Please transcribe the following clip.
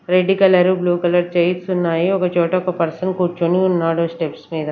Red colour blue colour chairs ఉన్నాయి ఒకచోట ఒక పర్సన్ కూర్చుని ఉన్నాడు స్టెప్స్ మీద.